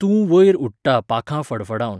तूं वयर उडटा पांखां फडफडावन.